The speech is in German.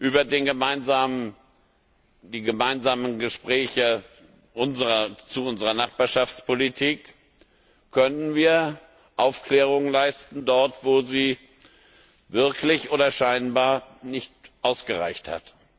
Über die gemeinsamen Gespräche zu unserer Nachbarschaftspolitik könnten wir Aufklärung leisten, dort wo sie wirklich oder scheinbar nicht ausgereicht hat.